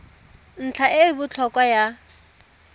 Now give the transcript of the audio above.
ntlha e e botlhokwa ya